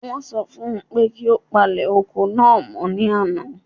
Wọ́n sọ fún un pé kí ó palẹ̀ oko náà mọ́ ní àná.